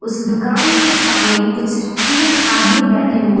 इस दुकान के सामने कुछ तीन आदमी बैठे हुए --